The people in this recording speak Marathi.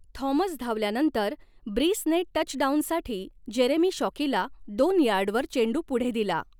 थॉमस धावल्यानंतर, ब्रीसने टचडाउनसाठी जेरेमी शॉकीला दोन यार्डवर चेंडू पुढे दिला.